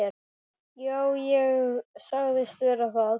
Já, ég sagðist vera það.